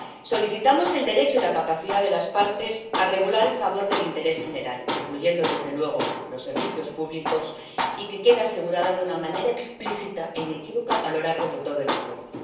Solicitamos el derecho y la capacidad de las partes a regular en favor del interés general, incluyendo, desde luego, los servicios públicos, y que esto quede asegurado de una manera explícita e inequívoca a lo largo de todo el Acuerdo.